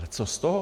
Ale co z toho?